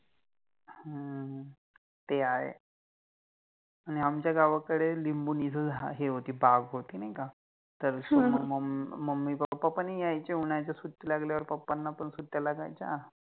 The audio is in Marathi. ह्म्म्म ते आहे, आणि आमच्या गावाकडे लिम्बोनिचा झाड हे होति बाग होति नाहि का तर ह Mummy, Pappa नाही यायचे उन्हाळ्याच्या सुट्टि लागल्यावर पप्पा ना पण सुट्ट्या लागायच्या